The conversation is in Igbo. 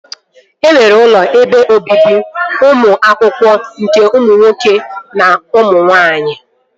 E nwere ụlọ ebe obibi ụmụ akwụkwọ nke ụmụ nwoke na nwaanyị